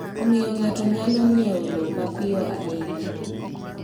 Omiyo ng’ato nyalo ng’iewo lowo mapiyo ahinya.